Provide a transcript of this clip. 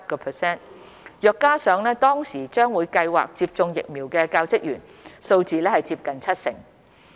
若再加上當時將會計劃接種疫苗的教職員，數字接近七成。